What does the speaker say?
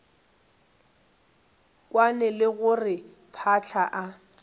kwane le gore phahla e